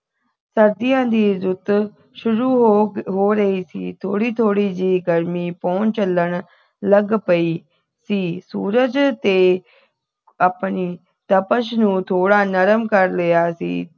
ਸਰਦੀਆਂ ਦੀ ਰੁੱਤ ਸ਼ੁਰੂ ਹੋ ਹੋ ਰਹੀ ਸੀ ਥੋੜੀ ਥੋੜੀ ਜਿਹੀ ਗਰਮੀ ਪੌਣ ਚੱਲਣ ਲੱਗ ਪਈ ਸੀ ਸੂਰਜ ਤੇ ਆਪਣੀ ਤਪਸ਼ ਨੂੰ ਥੋੜਾ ਨਰਮ ਕਰ ਲਿਆ ਸੀ